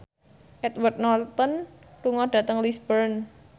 Edward Norton lunga dhateng Lisburn